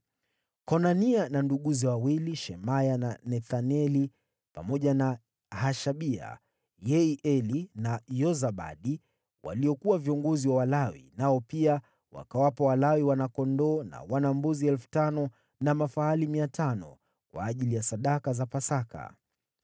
Konania na nduguze wawili, Shemaya na Nethaneli, pamoja na Hashabia, Yeieli na Yozabadi waliokuwa viongozi wa Walawi, nao pia wakawapa Walawi wana-kondoo na wana-mbuzi 5,000 na mafahali 500, kwa ajili ya sadaka za Pasaka.